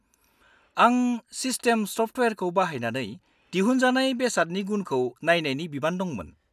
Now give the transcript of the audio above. -आं सिस्टेम सफ्टवेयरखौ बाहायनानै दिहुनजानाय बेसादनि गुनखौ नायनायनि बिबान दंमोन।